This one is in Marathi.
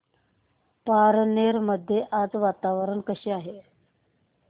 पारनेर मध्ये आज वातावरण कसे आहे